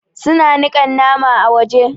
Su na niƙa naman a waje.